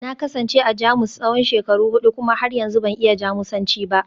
Na kasance a Jamus tsawon shekaru hudu kuma har yanzu ban iya Jamusanci ba